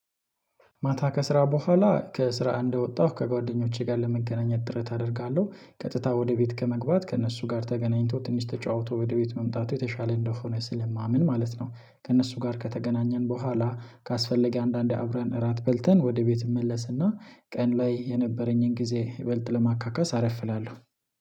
ማታ ከስራ በኋላ ከስራ እንደወጣሁ ከጓደኞቼ ጋር ለመገናኘት ጥረት አደርጋለሁ ቀጥታ ወደ ቤት ከመግባት ከእነሱ ጋር ተገናኝቶ ትንሽ ተጫውቶ ወደ ቤት መምጣቱ የተሻለ እንደሆነ ስለማምን ማለት ነው። ከእነሱ ጋር ከተገናኘን በኋላ ካስፈለገ አንዳንዴ አብረን እራት በልተን ወደ ቤት እመለስና ቀን ላይ የነበረኝን ጊዜ ይበልጥ ለማካካስ አረፍእላለሁ።